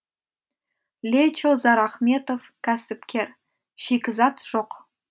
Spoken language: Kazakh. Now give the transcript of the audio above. лечо зарахметов кәсіпкер шикізат жоқ